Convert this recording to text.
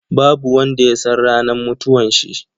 Babu wanda ya san ranar mutuwanshi.